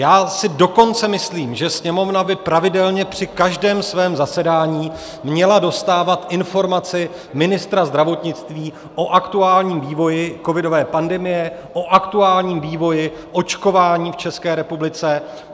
Já si dokonce myslím, že Sněmovna by pravidelně při každém svém zasedání měla dostávat informace ministra zdravotnictví o aktuálním vývoji covidové pandemie, o aktuálním vývoji očkování v České republice.